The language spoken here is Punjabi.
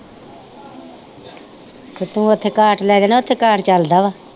ਤੇ ਤੂੰ ਉੱਥੇ ਕਾਰਟ ਲੈ ਜਾ ਨਾ ਉੱਥੇ ਕਾਰਟ ਚਲਦਾ ਵਾ